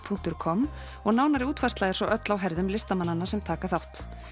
punktur com og nánari útfærsla er svo öll á herðum listamannanna sem taka þátt